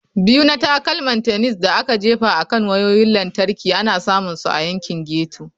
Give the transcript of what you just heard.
Biyu na Takalman Tennis da aka Jefa akan Wayoyin Lantarki ana samun su a yankin ghetto.